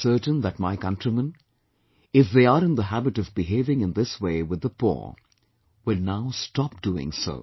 I am certain that my countrymen, if they are in the habit of behaving in this way with the poor will now stop doing so